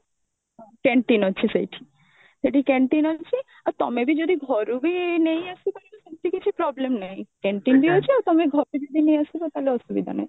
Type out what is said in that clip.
canteen ଅଛି ସେଇଠି ସେଠି canteen ଅଛି ଆଉ ତମେ ବି ଯଦି ଘରୁ ବି ନେଇଆସିପାରିବ ସେମତି କିଛି problem ନାହିଁ canteen ବି ଅଛି ଆଉ ତମେ ଘରୁ ଯଦି ବି ନେଇ ଆସୁଛ ତାହେଲେ ଅସୁବିଧା ନାହିଁ